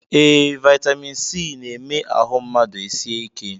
Ee, vitamin C na-eme ahụ mmadụ esie ike